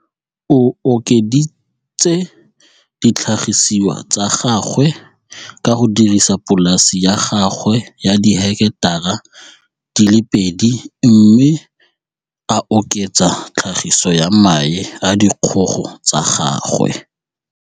O okeditse ditlhagisiwa tsa gagwe ka go dirisa polase ya gagwe ya diheketara di le pedi mme a oketsa tlhagiso ya mae a dikgogo tsa gagwe